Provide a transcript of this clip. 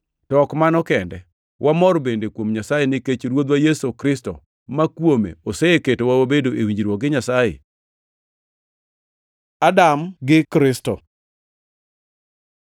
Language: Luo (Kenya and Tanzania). To ok mano kende, wamor bende kuom Nyasaye, nikech Ruodhwa Yesu Kristo, ma kuome oseketwa wabedo e winjruok gi Nyasaye. Adam gi Kristo